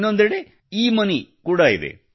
ಇನ್ನೊಂದೆಡೆ ಎಮೋನಿ ಈಮನಿ ಕೂಡ ಇದೆ